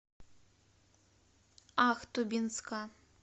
ахтубинска